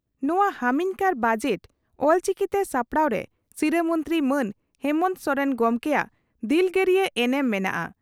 ᱱᱚᱣᱟ ᱦᱟᱹᱢᱤᱱᱠᱟᱨ ᱵᱟᱡᱮᱴ ᱚᱞᱪᱤᱠᱤᱛᱮ ᱥᱟᱯᱲᱟᱣᱨᱮ ᱥᱤᱨᱟᱹ ᱢᱚᱱᱛᱨᱤ ᱢᱟᱱ ᱦᱮᱢᱚᱱᱛᱚ ᱥᱚᱨᱮᱱ ᱜᱚᱢᱠᱮᱭᱟᱜ ᱫᱤᱞᱜᱟᱹᱨᱤᱭᱟᱹ ᱮᱱᱮᱢ ᱢᱮᱱᱟᱜᱼᱟ ᱾